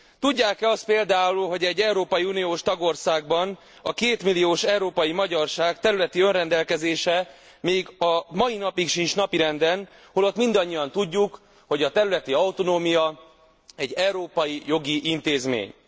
Tudják e azt például, hogy egy európai uniós tagországban a kétmilliós európai magyarság területi önrendelkezése még a mai napig sincs napirenden, holott mindannyian tudjuk, hogy a területi autonómia egy európai jogi intézmény.